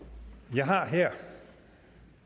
jeg har her